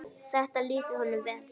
Þetta lýsir honum vel.